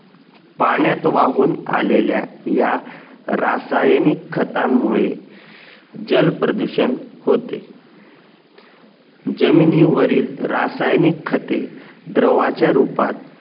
पाण्यात वाहून आलेल्या या रासायनिक खतांमुळे जल प्रदूषण होते जमिनी वरील रासायनिक खतें द्रावाच्या रुपात